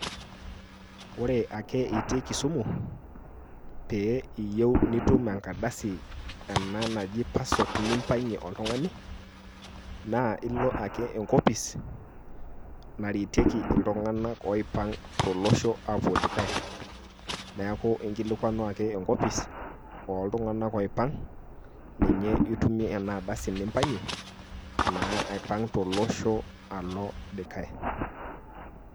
Ore ake itii Kisumu pee iyieu nitum enkardasi ena naji passport nimpangie oltungani naa ilo ake enkopis naretieki iltunganak oipang tolosho aapuo dikae. niaku inkilikwanu ake enkopis oo iltunganak oipang ninye itumie ena ardasi nimpangie naa aipang tolosho alo dikae.